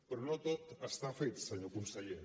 però no tot està fet senyor conseller